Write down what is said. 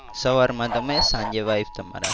સવારમાં તમે સાંજે wife તમારા.